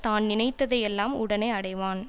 தான் நினைத்ததை எல்லாம் உடனே அடைவான்